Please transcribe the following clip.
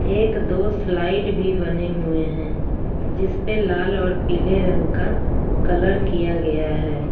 एक दो स्लाइड भी बने हुए हैं जिस पे लाल और पीले रंग का कलर किया गया है।